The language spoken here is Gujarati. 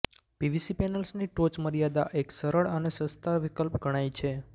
પીવીસી પેનલ્સની ટોચમર્યાદા એક સરળ અને સસ્તા વિકલ્પ ગણાય છે